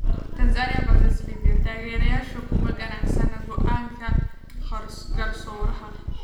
Tanzania vs Libya: Taageerayaasha kuma qanacsana go’aanka garsooraha